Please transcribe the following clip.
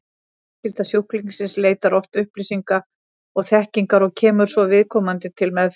Fjölskylda sjúklingsins leitar oft upplýsinga og þekkingar og kemur svo viðkomandi til meðferðar.